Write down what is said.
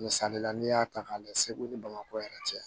Misali la n'i y'a ta k'a lajɛ segu ni bamakɔ yɛrɛ cɛ